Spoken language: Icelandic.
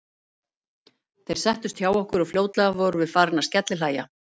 Þeir settust hjá okkur og fljótlega vorum við farin að skellihlæja.